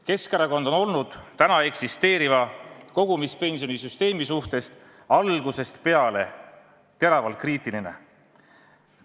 Keskerakond on täna eksisteeriva kogumispensionisüsteemi suhtes algusest peale teravalt kriitiline olnud.